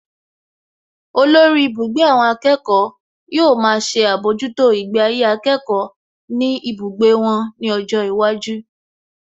Olórí ibùgbé àwọn akẹ́kọ̀ọ́ yóò máa ṣe àbójútó ìgbé ayé akẹ́kọ̀ọ́ ní ibùgbé wọn ní ọjọ́ iwájú